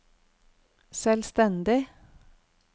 selvstendig